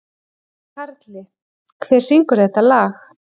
Karli, hver syngur þetta lag?